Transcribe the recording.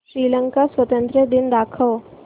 श्रीलंका स्वातंत्र्य दिन दाखव